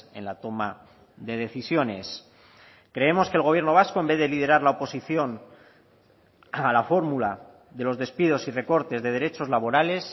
en la toma de decisiones creemos que el gobierno vasco en vez de liderar la oposición a la fórmula de los despidos y recortes de derechos laborales